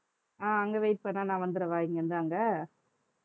அஹ் அங்க wait பண்ணா நான் வந்திடவா இங்க இருந்து அங்க